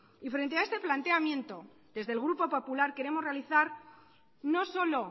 y frente a este planteamiento desde el grupo popular queremos realizar no solo